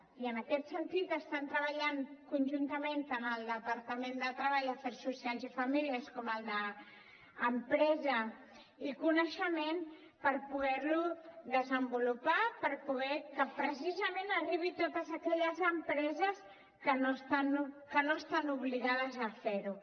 i en aquest sentit estan treballant conjuntament tant el departament de treball afers socials i famílies com el d’empresa i coneixement per poder lo desenvolupar per poder que precisament arribi a totes aquelles empreses que no estan obligades a fer ho